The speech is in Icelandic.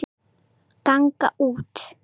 ganga út